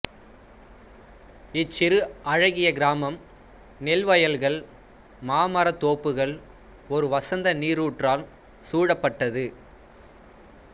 இச்சிறு அழகிய கிராம்ம் நெல் வயல்கள் மாம்மர தோப்புகள் ஒரு வசந்த நீருற்றால் சூழப்பட்டது